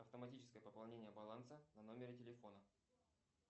автоматическое пополнение баланса на номере телефона